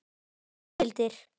Þá gildir